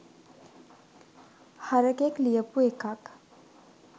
හරකෙක් ලියපු එකක්